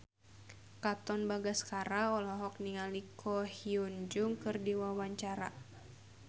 Katon Bagaskara olohok ningali Ko Hyun Jung keur diwawancara